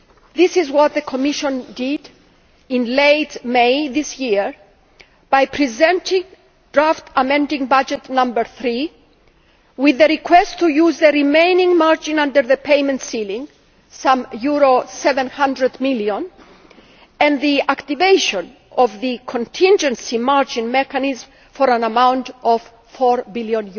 This is what the Commission did in late May this year by presenting draft amending budget No 3, with a request to use the remaining margin under the payment ceiling some EUR 700 million and the activation of the contingency margin mechanism for an amount of EUR 4 billion.